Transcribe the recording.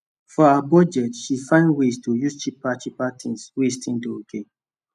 for her budget she find ways to use cheaper cheaper things wey still dey okay